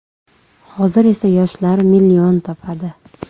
Hozir esa yoshlar million topadi.